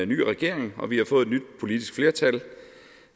ny regering og vi har fået et nyt politisk flertal